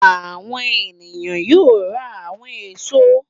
Àwọn ènìyàn yóò ra àwọn èso.